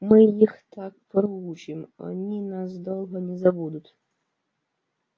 мы их так проучим они нас долго не забудут